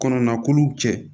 Kɔnɔna kolow cɛ